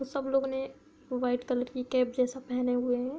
सब लोगों ने व्हाइट कलर की कैप जैसा पहने हुए है।